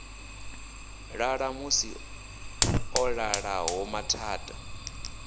ḽa ṋamusi ḽo ḓalaho mathada